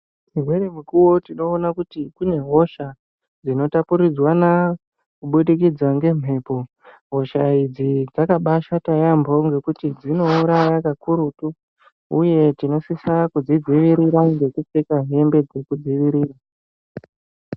Dzimweni mukuwo tinoona kuti kune hosha dzino tapuridzwana kubudikidza ngemhepo hosha idzi dzakabaishata yambo nekuti dzinouraya kakurutu uye tinosisa kudzivirira ngekupfeka hembe dzeku dzivirira.